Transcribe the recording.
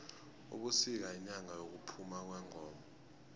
ubusika yinyanga yokuphama kwengoma